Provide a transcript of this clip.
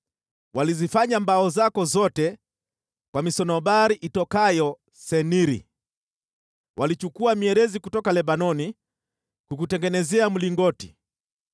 Walizifanya mbao zako zote kwa misunobari itokayo Seniri; walichukua mierezi kutoka Lebanoni kukutengenezea mlingoti.